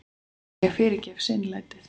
En ég fyrirgef seinlætið.